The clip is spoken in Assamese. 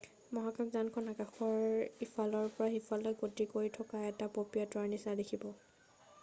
মহাকাশযানখন আকাশৰ ইফালৰ পৰা সিফালে গতি কৰি থকা এটা পপীয়াতৰাৰ নিচিনা দেখিব